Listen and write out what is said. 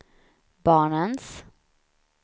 barnens